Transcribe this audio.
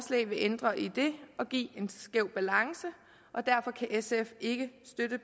vil ændre i det og give en skæv balance og derfor kan sf ikke støtte